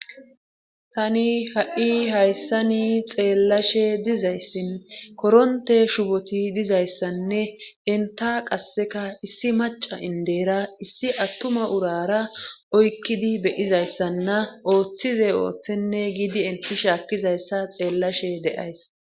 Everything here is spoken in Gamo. Tani ha7i hayssani xeellashe dizayssin koronte shuboti dizayssanne enta qasseka issi maca indeyra issi attuma urara oykkidi beyizayssanna ooththize ooththenne giidi enti shaakkizayssa xeellashe de7ays